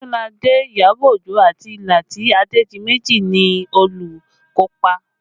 Odunlade, Iyabọ̀ Ojo àti Lati Adedimeji ni olùkópa